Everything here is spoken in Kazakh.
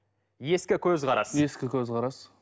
ескі көзқарас ескі көзқарас